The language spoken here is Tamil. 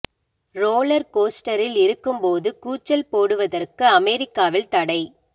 ரோலர் கோஸ்டரில் இருக்கும்போது கூச்சல் போடுவதற்கு அமெரிக்காவில் தடை